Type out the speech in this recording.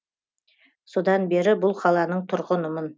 содан бері бұл қаланың тұрғынымын